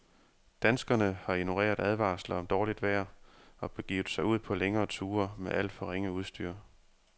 Danskerne har ignoreret advarsler om dårligt vejr og begivet sig ud på længere ture med alt for ringe udstyr.